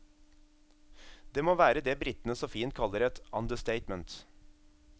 Det må være det britene så fint kaller et understatement.